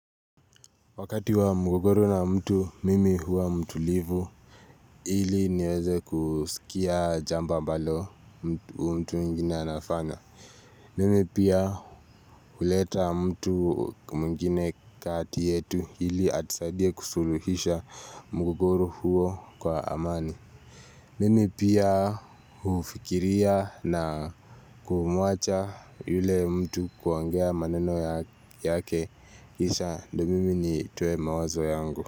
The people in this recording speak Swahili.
Wakati wa mgogoro na mtu mimi huwa mtulivu ili niweze kusikia jambo ambalo mtu mwingine anafanya Mimi pia huleta mtu mwingine kati yetu ili atusaidie kusuluhisha mgogoro huo kwa amani Mimi pia hufikiria na kumuacha yule mtu kuongea maneno yake kisha ndo mimi nitoe mawazo yangu.